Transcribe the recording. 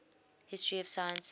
history of science